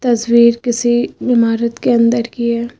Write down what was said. तस्वीर किसी इमारत के अंदर की है।